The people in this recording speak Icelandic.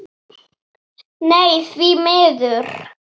Nei, því miður.